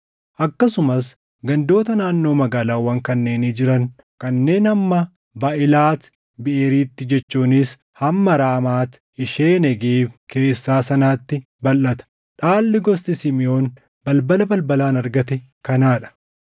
akkasumas gandoota naannoo magaalaawwan kanneenii jiran kanneen hamma Baaʼilaat Biʼeeritti jechuunis hamma Raamaat ishee Negeeb keessaa sanaatti balʼata. Dhaalli gosti Simiʼoon balbala balbalaan argate kanaa dha.